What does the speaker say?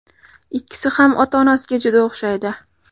Ikkisi ham ota-onasiga juda o‘xshaydi.